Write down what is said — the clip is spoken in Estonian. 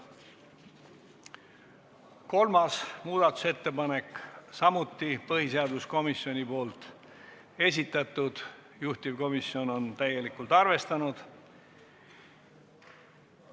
Kolmas muudatusettepanek on samuti põhiseaduskomisjoni esitatud, juhtivkomisjon on seda täielikult arvestanud.